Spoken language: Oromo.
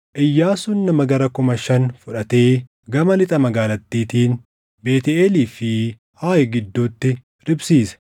Iyyaasuun nama gara kuma shan fudhatee gama lixa magaalattiitiin Beetʼeelii fi Aayi gidduutti riphsiise.